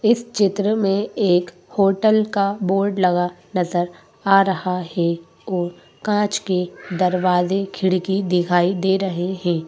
इस चित्र में एक होटल का बोर्ड लगा नजर आ रहा हैं औ काँच के दरवाजे खिड़की दिखाई दे रहे हैं।